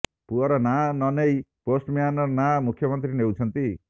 ପୁଅର ନାଁ ନ ନେଇ ପୋଷ୍ଟମ୍ୟାନର ନାଁ ମୁଖ୍ୟମନ୍ତ୍ରୀ ନେଉଛନ୍ତି